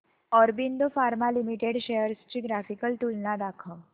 Aurobindo pharma limited shares ची graphical तुलना दाखव